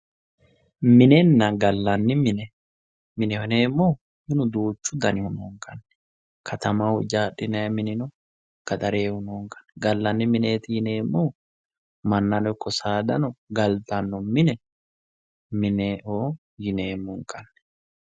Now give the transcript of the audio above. Minenna gallanni mine ,mineho yineemmohu minu duuchu danihu noo katamaho ijaadhinannihu no gaxarehu noonkanni gallanni mineti yineemmohu mannano ikko saadano minenna gallanni mine ,mineho yineemmohu minu duuchu dannihu noonkanni.